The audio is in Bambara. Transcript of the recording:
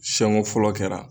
Siɲɛ ko fɔlɔ kɛra